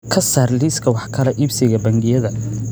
ka saar liiska wax kala iibsiga bangiyada